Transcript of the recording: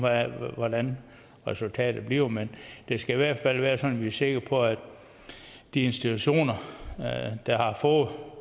hvordan resultatet bliver men det skal i hvert fald være sådan at vi er sikre på at de institutioner der har fået